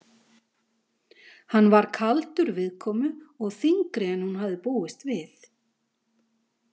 Hann var kaldur viðkomu og þyngri en hún hafði búist við.